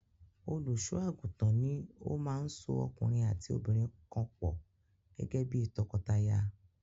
Olùṣọ́-àgùntàn ni ó máa ń so ọkùnrin àti obìnrin kan pọ̀ gẹ́gẹ́ bí i tọkọtaya.